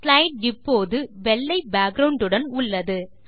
slide இப்போது வெள்ளை background உடன் உள்ளது